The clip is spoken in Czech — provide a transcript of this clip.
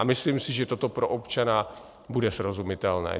A myslím si, že toto pro občana bude srozumitelné.